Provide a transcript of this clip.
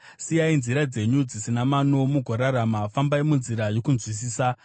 Siyai nzira dzenyu dzisina mano mugorarama; fambai munzira yokunzwisisa.